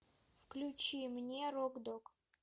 включи мне рок дог